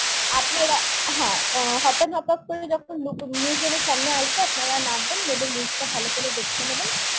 আপনারা হ্যাঁ hop on hop করলে যখন look museum এর সামনে আসবেন, আপনারা নামবেন দেখবেন লুকটা ভালো করে দেখে নেবেন